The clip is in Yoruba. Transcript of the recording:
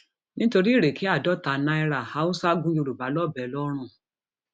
nítorí ìrèké àádọta náírà haúsá gún yorùbá lọbẹ ńlọrọìn